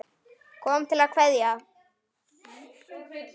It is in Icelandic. Ég kom til að kveðja.